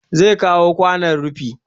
Zai kawo kwanon rufi